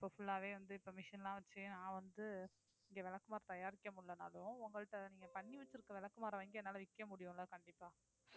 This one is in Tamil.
இப்ப full ஆவே வந்து இப்ப machine லாம் வச்சு நான் வந்து இங்க விளக்குமாறு தயாரிக்க முடியலைன்னாலும் உங்கள்ட்ட நீங்க பண்ணி வச்சிருக்கிற விளக்குமாறு வாங்கி என்னால விக்க முடியுமில்ல கண்டிப்பா